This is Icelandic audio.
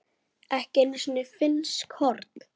ekki einu sinni finnsk horn.